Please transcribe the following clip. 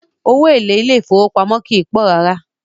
Owó èlé ilé ìfọwọ́pamó kìí pọ̀ rárá.